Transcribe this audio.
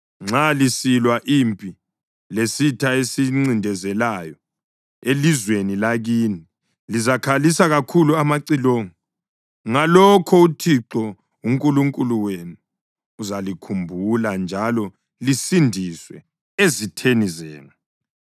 Nxa lisilwa impi lesitha esilincindezelayo elizweni lakini, lizakhalisa kakhulu amacilongo. Ngalokho uThixo uNkulunkulu wenu uzalikhumbula njalo lisindiswe ezitheni zenu.